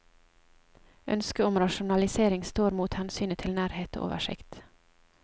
Ønsket om rasjonalisering står mot hensynet til nærhet og oversikt.